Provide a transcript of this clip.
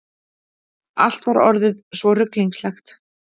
Allt var orðið svo ruglingslegt.